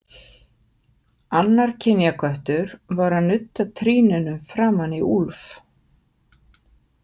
Annar kynjaköttur var að nudda trýninu framan í Úlf.